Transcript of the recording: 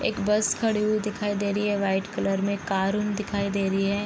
एक बस खड़ी हुई दिखाई दे रही है वाइट कलर में कार उन दिखाई दे रही है ।